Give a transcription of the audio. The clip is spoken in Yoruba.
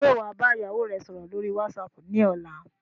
Ṣé wá bá ìyàwó rè sọ̀rọ̀ lórí whatsapp ni ọ̀la?